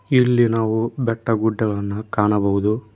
ಇಲ್ಲಿ ನಾವು ಬೆಟ್ಟ ಗುಡ್ಡಗಳನ್ನು ಕಾಣಬಹುದು.